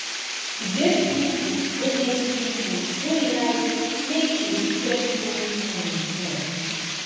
e get pipo wey get pipo wey like make you spend plenty time with them